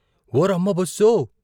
ఓరమ్మ బస్సో.